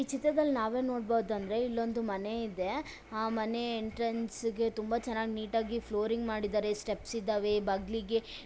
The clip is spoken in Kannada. ಈ ಚಿತ್ರದಲ್ಲಿ ನಾವೇನ್ ನೋಡಬಹುದು ಅಂದ್ರೆ ಇಲ್ಲೊಂದು ಮನೆ ಇದೆ ಆ ಮನೆ ಎಂಟ್ರೆನ್ಸ್ಗೆ ತುಂಬಾ ಚೆನ್ನಾಗಿ ನೀಟಾಗಿ ಫ್ಲೋರಿಂಗ್ ಮಾಡಿದ್ದಾರೆ ಸ್ಟೆಪ್ಸ್ ಇದ್ದಾವೆ ಬದ್ಲಿಗೆ.